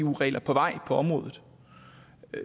eu regler på vej på området